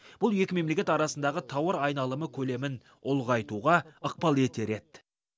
бұл екі мемлекет арасындағы тауар айналымы көлемін ұлғайтуға ықпал етер еді